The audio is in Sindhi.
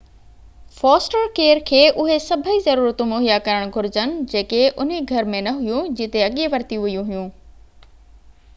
فوسٽر ڪيئر کي اُهي سڀئي ضرورتون مُهيا ڪرڻ گهرجن جيڪي انهي گهر ۾ نه هيون جتي اڳي ورتيون ويون هيون